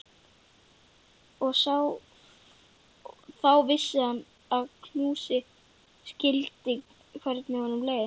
Þá vissi hann að hún skildi hvernig honum leið.